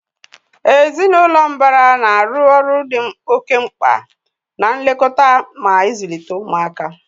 Ezinụlọ mbara na-arụ ọrụ dị oke mkpa na nlekọta mà ịzụlite ụmụaka